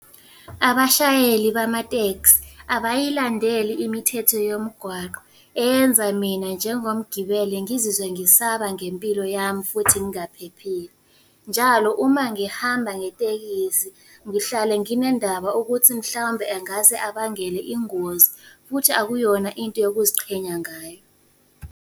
Abashayeli bamateksi abayilandeli imithetho yomgwaqo, enza mina njengomgibeli ngizizwe ngisaba ngempilo yami futhi ngingaphephile. Njalo uma ngihamba ngetekisi ngihlale nginendaba ukuthi mhlawumbe angase abangele ingozi, futhi akuyona into yokuziqhenya ngayo.